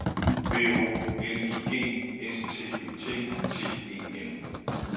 B O L I G S T Ø T T E N